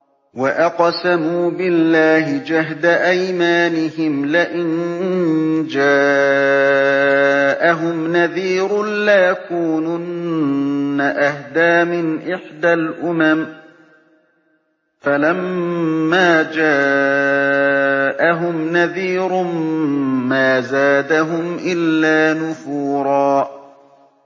وَأَقْسَمُوا بِاللَّهِ جَهْدَ أَيْمَانِهِمْ لَئِن جَاءَهُمْ نَذِيرٌ لَّيَكُونُنَّ أَهْدَىٰ مِنْ إِحْدَى الْأُمَمِ ۖ فَلَمَّا جَاءَهُمْ نَذِيرٌ مَّا زَادَهُمْ إِلَّا نُفُورًا